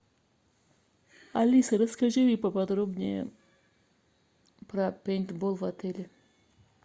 алиса расскажи мне поподробнее про пейнтбол в отеле